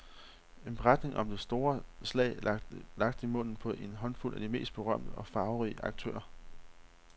En beretning om det store slag lagt i munden på en håndfuld af de mest berømte og farverige aktører.